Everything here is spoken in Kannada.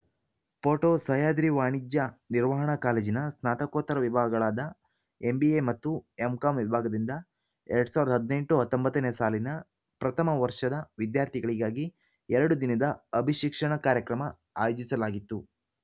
ಫೋಟೊ ಸಹ್ಯಾದ್ರಿ ವಾಣಿಜ್ಯ ನಿರ್ವಾಹಣಾ ಕಾಲೇಜಿನ ಸ್ನಾತಕೊತ್ತರ ವಿಭಾಗಗಳಾದ ಎಂಬಿಎ ಮತ್ತು ಎಂಕಾಂ ವಿಭಾಗದಿಂದ ಎರಡ್ ಸಾವಿರದ ಹದಿನೆಂಟುಹತ್ತೊಂಬತ್ತನೇ ಸಾಲಿನ ಪ್ರಥಮ ವರ್ಷದ ವಿದ್ಯಾರ್ಥಿಗಳಿಗಾಗಿ ಎರಡು ದಿನದ ಅಭಿಶಿಕ್ಷಣ ಕಾರ್ಯಕ್ರಮ ಆಯೋಜಿಸಲಾಗಿತ್ತು